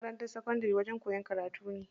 Makarantar sakandari wajen koyan karatu ne.